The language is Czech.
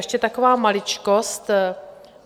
Ještě taková maličkost.